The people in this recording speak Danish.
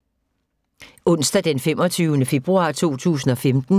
Onsdag d. 25. februar 2015